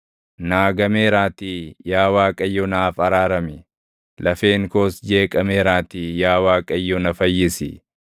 Naa gameeraatii yaa Waaqayyo naaf araarami; lafeen koos jeeqameeraatii yaa Waaqayyo na fayyisi.